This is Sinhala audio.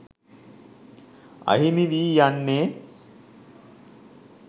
අහිමි වී යන්නේ